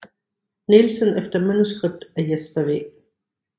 Nielsen efter manuskript af Jesper W